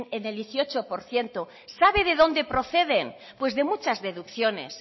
el dieciocho por ciento sabe de dónde proceden pues de muchas deducciones